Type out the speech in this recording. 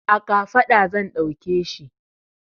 A kafaɗa zan ɗauke shi.